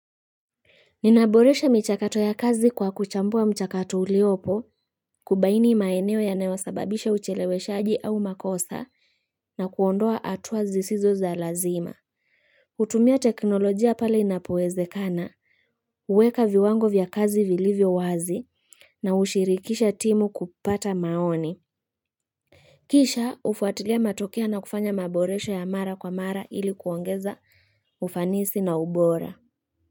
Ninaboresha michakato ya kazi kwa kuchambua mchakato uliopo kubaini maeneo yanawasababisha ucheleweshaji au makosa na kuondoa hatua zisizo za lazima kutumia teknolojia pale inapoezekana huweka viwango vya kazi vilivyo wazi na hushirikisha timu kupata maoni Kisha hufuatilia matokeo na kufanya maboresha ya mara kwa mara ili kuongeza ufanisi na ubora.